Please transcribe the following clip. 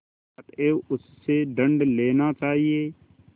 अतएव उससे दंड लेना चाहिए